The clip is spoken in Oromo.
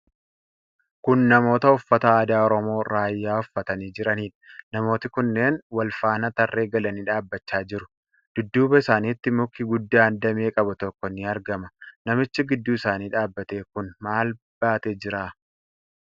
Kun namoota uffata aadaa Oromoo Raayyaa uffatanii jiranidha. Namooti kunneen wal faana tarree galanii dhaabachaa jiru. Dudduuba isaanitti Muki guddaan damee qabu tokko ni argama. Namichi gidduu isaanii dhaabate kun maal baatee jira?